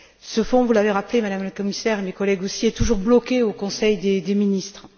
Ce fonds, vous l'avez rappelé, Madame la Commissaire et mes collègues aussi, est toujours bloqué au Conseil des ministres.